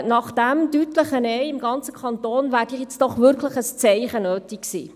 Nach diesem deutlichen Nein im ganzen Kanton wäre doch hier wirklich ein Zeichen notwendig gewesen.